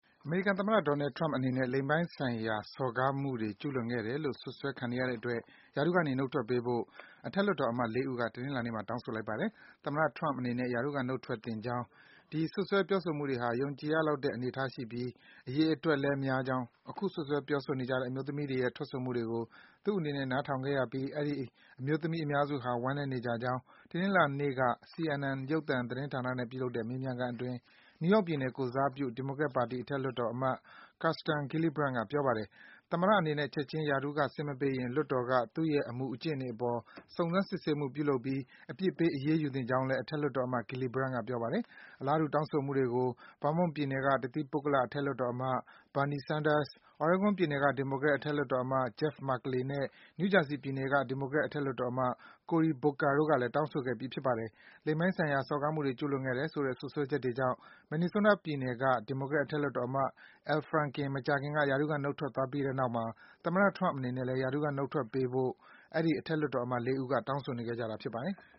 အမေရိကန်သမ္မတ Donald Trump အနေနဲ့ လိင်ပိုင်းဆိုင်ရာ စော်ကားမှုတွေ ကျူးလွန်ခဲ့တယ်လို့ စွပ်စွဲခံနေရတဲ့အတွက် ရာထူးကနေ နုတ်ထွက်ပေးဖို့ အထက်လွှတ်တော်အမတ် ၄ ဦးက တနင်္လာနေ့မှာ တောင်းဆိုလိုက်ကြပါတယ်။ သမ္မတ Trump အနေနဲ့ ရာထူး ကနုတ်ထွက်သင့်ကြောင်း၊ ဒီ စွပ်စွဲ ပြောဆိုမှုတွေဟာ ယုံကြည်ရနိုင်လောက်တဲ့ အနေအထားရှိပြီး အရေအတွက်လည်း များပြားကြောင်း၊ အခု စွပ်စွဲ ပြောဆိုနေကြတဲ့ အမျိုးသမီးတွေရဲ့ ထွက်ဆိုမှုတွေကို သူ့အနေနဲ့ နားထောင်ခဲ့ရပြီး အဲဒီ အမျိုးသမီးအများစုဟာ ဝမ်းနည်းနေကြကြောင်း တနင်္လာနေ့က CNN ရုပ်သံ သတင်းဌာနနဲ့ ပြုလုပ်တဲ့ မေးမြန်းခန်းအတွင်း နယူးယောက်ပြည်နယ် ကိုယ်စားပြု ဒီမိုကရက်ပါတီ အထက်လွှတ်တော်အမတ် Kristen Gillibrand က ပြောပါတယ်။ သမ္မတအနေနဲ့ ချက်ချင်း ရာထူးက ဆင်းမပေးရင် လွှတ်တော်က သူ့ရဲ့ အမူအကျင့်တွေအပေါ် စုံစမ်းစစ်ဆေးမှု ပြုလုပ်ပြီး အပြစ်ပေး အရေးယူသင့်ကြောင်းလည်း အထက်လွှတ်တော်အမတ် Gillibrand က ပြောပါတယ်။ အလားတူ တောင်းဆိုမှုတွေကို Vermont ပြည်နယ်က တသီးပုဂ္ဂလ အထက်လွှတ်တော်အမတ် Bernie Sanders ၊ Oregon ပြည်နယ်က ဒီမိုကရက် အထက်လွှတ်တော်အမတ် Jeff Merkley နဲ့ New Jersey ပြည်နယ်က ဒီမိုကရက် အထက်လွှတ်တော်အမတ် Cory Booker တို့ကလည်း တောင်းဆိုခဲ့ပြီး ဖြစ်ပါတယ်။ လိင်ပိုင်းဆိုင်ရာ စော်ကားမှုတွေ ကျူးလွန်ခဲ့တယ်ဆိုတဲ့ စွပ်စွဲချက်တွေကြောင့် Minnesota ပြည်နယ်က ဒီမိုကရက် အထက်လွှတ်တော်အမတ် Al Franken မကြာသေးခင်က ရာထူးက နုတ်ထွက်သွားခဲ့ပြီးတဲ့နောက်မှာ သမ္မတ Trump အနေနဲ့လည်း ရာထူးက နုတ်ထွက်ပေးဖို့အတွက် အဲဒီ အထက်လွှတ်တော်အမတ် ၄ ဦးတို့က တောင်းဆိုနေခဲ့ကြတာ ဖြစ်ပါတယ်။